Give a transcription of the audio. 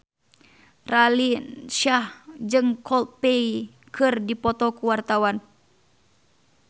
Raline Shah jeung Coldplay keur dipoto ku wartawan